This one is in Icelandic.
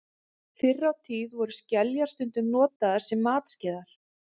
fyrr á tíð voru skeljar stundum notaðar sem matskeiðar